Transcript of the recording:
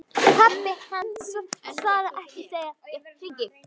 Pabbi hans svarar ekki þegar ég hringi.